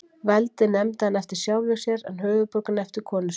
Veldið nefndi hann eftir sjálfum sér, en höfuðborgina eftir konu sinni.